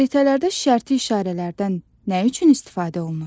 Xəritələrdə şərti işarələrdən nə üçün istifadə olunur?